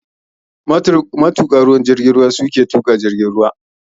Matuƙa jirgin ruwa ke tuƙa jirgin ruwa.